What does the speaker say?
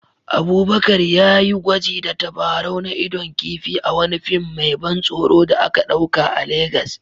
Abubakar ya yi gwaji da tabarau na idon kifi a wani fim mai ban tsoro da aka ɗauka a Legas